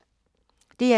DR2